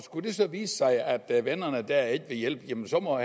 det så vise sig at vennerne der ikke vil hjælpe så må